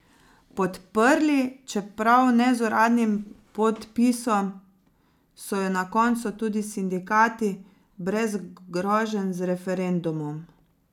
Podprli, čeprav ne z uradnim podpisom, so jo na koncu tudi sindikati, brez groženj z referendumom.